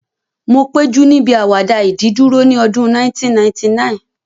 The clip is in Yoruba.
Mo péjú níbi àwàdà ìdìdúró ní ọdún 1999